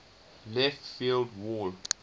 left field wall